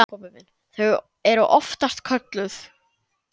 Þau eru oftast kölluð